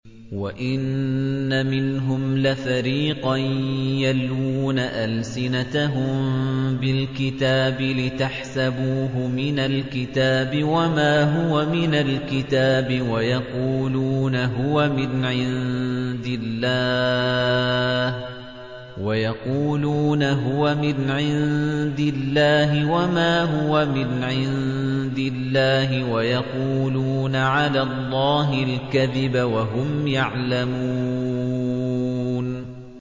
وَإِنَّ مِنْهُمْ لَفَرِيقًا يَلْوُونَ أَلْسِنَتَهُم بِالْكِتَابِ لِتَحْسَبُوهُ مِنَ الْكِتَابِ وَمَا هُوَ مِنَ الْكِتَابِ وَيَقُولُونَ هُوَ مِنْ عِندِ اللَّهِ وَمَا هُوَ مِنْ عِندِ اللَّهِ وَيَقُولُونَ عَلَى اللَّهِ الْكَذِبَ وَهُمْ يَعْلَمُونَ